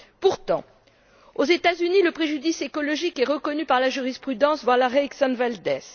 Pourtant, aux États Unis, le préjudice écologique est reconnu par la jurisprudence, voir l'arrêt Exxon Valdez.